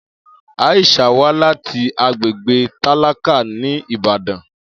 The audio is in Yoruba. Aisha wá láti agbègbè tálákà ní Ìbàdàn